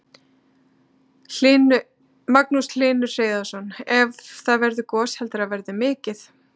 Magnús Hlynur Hreiðarsson: Ef það verður gos, heldurðu að það verði mikið?